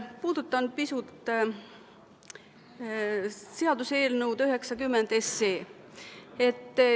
Puudutan pisut seaduseelnõu 90.